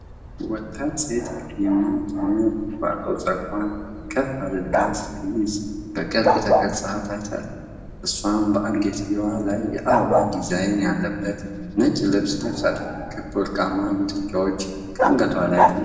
ወጣት ሴት ቀይማ የሆነ ቁጥቋጦ ጸጉሯን ከፍ አድርጋ ስትይዝ በቅርብ ተቀርጻ ታይታለች። እሷም በአንገትጌው ላይ የአበባ ዲዛይን ያለበት ነጭ ልብስ ለብሳለች፤ ክብ ወርቃማ ጉትቻዎች ከአንገቷ ላይ ተንጠልጥለዋል።